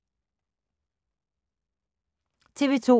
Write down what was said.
TV 2